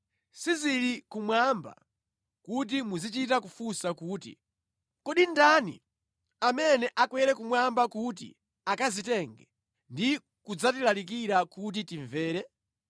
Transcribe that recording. Sizili kumwamba, kuti muzichita kufunsa kuti, “Kodi ndani amene akwere kumwamba kuti akazitenge ndi kudzatilalikira kuti timvere?”